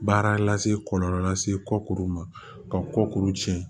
Baara lase kɔlɔlɔ lase kɔkuru ma ka kɔkuru tiɲɛ